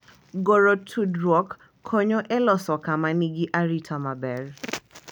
Goro tudruok konyo e loso kama nigi arita maber